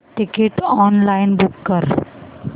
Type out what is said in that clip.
ticket online book कर